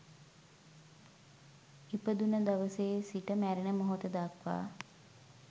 ඉපදුන දවසේ සිට මැරෙන මොහොත දක්වා